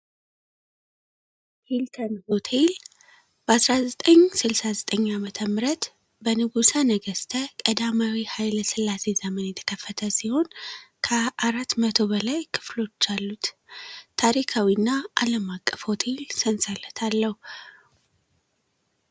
ሂልተን ሆቴል በ1969አመተ ምህረት በንጉሳ ነገሥተ ቀዳማዊ ኃይለ ስላሴ ዘመን የተከፈተ ሲሆን ከ4 00 በላይ ክፍሎች አሉት ታሪካዊ እና አለም አቀፍ ሆቴል ሰንሰለት አለው።